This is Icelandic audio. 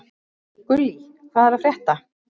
Gullý, hvað er að frétta?